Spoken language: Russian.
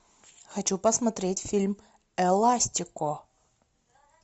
хочу посмотреть фильм эластико